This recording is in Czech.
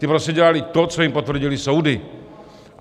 Ti prostě dělali to, co jim potvrdily soudy.